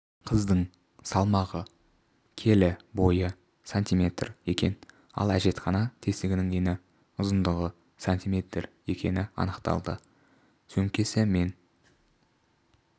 қыздың салмағы келі бойы сантиметр екен ал әжетхана тесігінің ені ұзындығы сантиметр екені анықталды сөмкесі мен